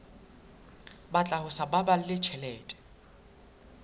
batla ho sa baballe tjhelete